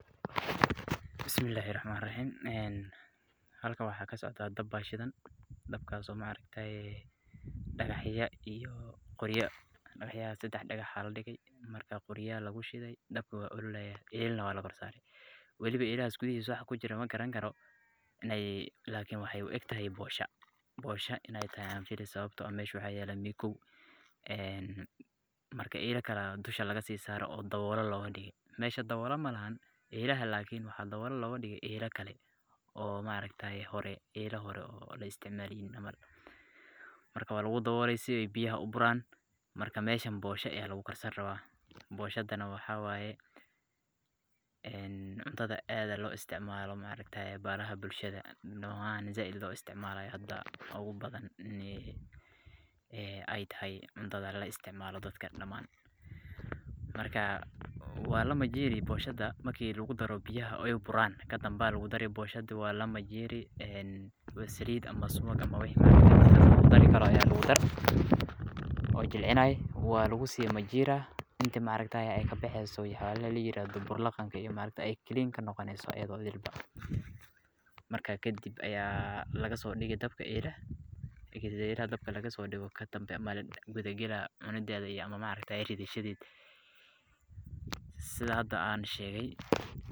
Bismillahi Rahmani Rahiim, een halkan waxa kasocda daab ayaa shidaan, daabkaso maa aragtaay dagaxyaa iyo qooryaa dagaxyaha sadax dagax ayaa ladigii markaa qooryaa laguu shidii dabkaa waa ololayaa, eelanaa waa lakoor saari , walibaa eelahaa guudihisa waxa kujiro magarani karo, lakini wexey uegtahay boshoo. Boosha ineey tahay ayaan filii sababto aah meshaa waxaa yalaa mikoow een markaa elaa kale ayaa dushaa lagaa sisaree oo dawoole logaa digee. Meshaa dawoolee malahaan elaaha lakiin waxaa dawolee logadigee elaa kalee oo maaragtaye horee elaa horee oo aan laisticmalenin camal. Marka walagu dawoole si eey biyahaa uburaan markaa meshaan booshaa ayaa lagu karsani rawaa. Boshadaa nah waxaa waye cuntadaa aadka loisticmalo maaragtaye baraha bulshadaa nocyaha zaaid loisticmalayo waxa ubadhaan een eeytahay cuntadaa eey isticmalaan daadka damaan. Markaa walaa majirii booshadaa marki lagudaro biyahaa oo eey buuran kadambe ayaa lagudari booshadaa, walaa majiirin, een saliid ama suwaag waxaa laguu dari karo ayaa lagudarii oo jilcinayo walagusi majiraa intii maragtaye eey kabexeyso wax yabaha layirahdo buur laqaanka eey clean kanoqoneyso ayadho idhil. Markaa kadib ayaa lagasodigi dabkaa elahaa, marki eelaha daabka lagasodigo, kadambe ayaa lagaala cuunidedhaa ama maragtaye ridha shadedha. Sithaa hadaa sheegaay.